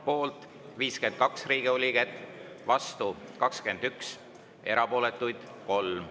Poolt 52 Riigikogu liiget, vastu 21, erapooletuid 3.